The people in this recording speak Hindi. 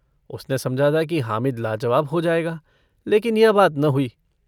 उसने समझा था कि हामिद लाजवाब हो जायगा लेकिन यह बात न हुई।